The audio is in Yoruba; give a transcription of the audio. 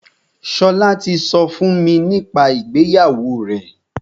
Ṣọlá ti sọ fún mi nípa ìgbéyàwó rẹ̀.